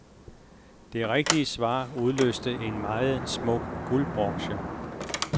Det rigtige svar udløste en meget smuk guldbroche.